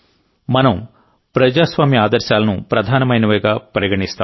మనం ప్రజాస్వామ్య ఆదర్శాలను ప్రధానమైనవిగా పరిగణిస్తాం